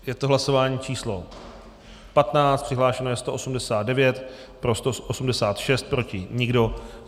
Je to hlasování číslo 15, přihlášeno je 189, pro 186, proti nikdo.